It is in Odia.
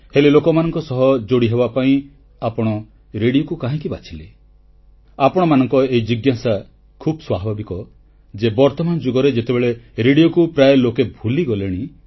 ହେଲେ ଲୋକମାନଙ୍କ ସହ ଯୋଡ଼ିହେବା ପାଇଁ ଆପଣ ରେଡ଼ିଓକୁ କାହିଁକି ବାଛିଲେ ଆପଣମାନଙ୍କ ଏହି ଜିଜ୍ଞାସା ଖୁବ ସ୍ୱାଭାବିକ ଯେ ବର୍ତ୍ତମାନ ଯୁଗରେ ଯେତେବେଳେ ରେଡ଼ିଓକୁ ପ୍ରାୟ ଲୋକେ ଭୁଲିଗଲେଣି